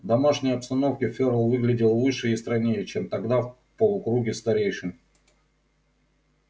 в домашней обстановке ферл выглядел выше и стройнее чем тогда в полукруге старейшин